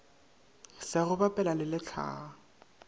sa go bapela le lehlaa